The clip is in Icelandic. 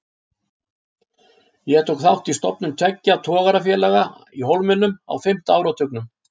Ég tók þátt í stofnun tveggja togarafélaga í Hólminum á fimmta áratugnum.